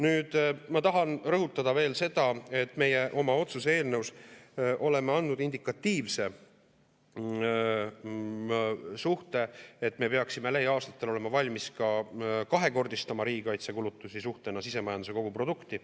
Nüüd, ma tahan rõhutada veel seda, et meie oma otsuse eelnõus oleme andnud indikatiivse suhte, et me peaksime lähiaastatel olema valmis ka kahekordistama riigikaitsekulutusi suhtena sisemajanduse koguprodukti.